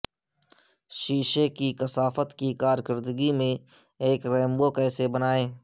شیشے کی کثافت کی کارکردگی میں ایک رینبو کیسے بنائیں